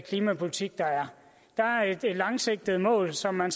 klimapolitik der er der er et langsigtet mål som man